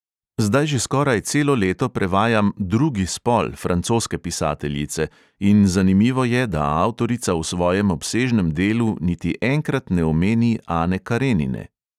Zdaj že skoraj celo leto prevajam drugi spol francoske pisateljice in zanimivo je, da avtorica v svojem obsežnem delu niti enkrat ne omeni ane karenine.